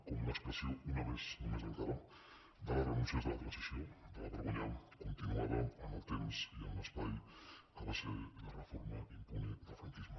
com una expressió una més només encara de les renúncies de la transició de la vergonya continuada en el temps i en l’espai que va ser la reforma impune del franquisme